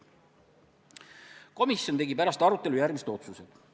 Komisjon tegi pärast arutelu järgmised otsused.